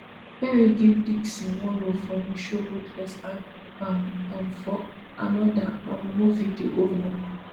perry give dixon one role for im show ruthless and um um for anoda um movie the oval